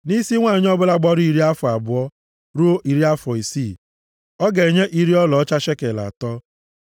Nʼisi nwanyị ọbụla gbara iri afọ abụọ ruo iri afọ isii ọ ga-enye iri ọlaọcha shekel atọ.